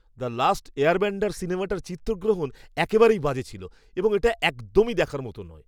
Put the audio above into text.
"The last airbender" সিনেমাটার চিত্রগ্রহণ একেবারেই বাজে ছিল এবং এটা একদমই দেখার মতো নয়।